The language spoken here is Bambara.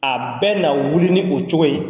A bɛ na wuli ni o cogo ye